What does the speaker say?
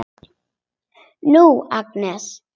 Nú, Agnes.